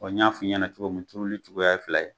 N y'a f'i ɲɛna cogo min turuli cogoya ye fila ye